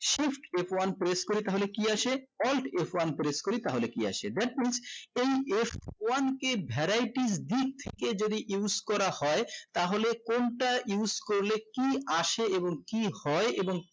shift f one press করি তাহলে কি আসে alt f one press করি তাহলে কি আসে that's mean এই f one কে variety দিক থেকে যদি use করা হয় তাহলে কোনটা use করলে কি আসে এবং কি হয় এবং